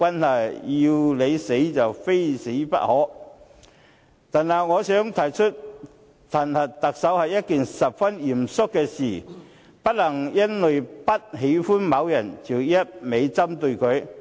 另外，我想指出，彈劾特首是一件十分嚴肅的事，不能夠因為不喜歡某人便一味針對他。